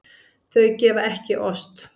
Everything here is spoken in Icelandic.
Þau gefa ekki ost.